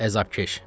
Əzabkeş.